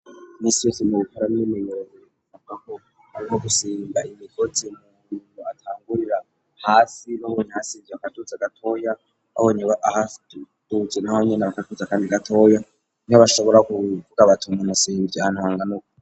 misresi mu bikora n'iminerorsabga ko arimo gusimba imikotsi mu indu atangurira hasi n'abonye hasinze akatutsi agatoya abonye ahatutsi naho nyina bakakuze akandi gatoya nibo bashobora kubivuga abatmunt asirebiryaantuhanga nubo